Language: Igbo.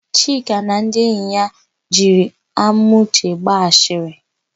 Chika na ndị enyi ya jiri Amauche gba asịrị.